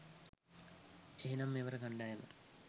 එහෙමනම් මෙවර .කණ්ඩායම